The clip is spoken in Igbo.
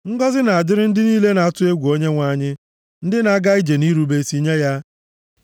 Ngọzị na-adịrị ndị niile na-atụ egwu Onyenwe anyị, ndị na-aga ije nʼirube isi nye ya.